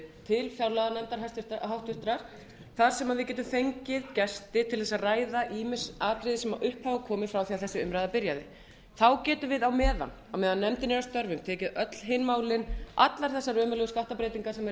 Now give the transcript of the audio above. til háttvirtrar fjárlaganefndar þar sem við getum fengið gesti til að ræða ýmis atriði sem upp hafa komið frá því að þessi umræða byrjaði þá getum við á meðan nefndin er að störfum tekið öll hin málin allar þessar ömurlegu skattabreytingar sem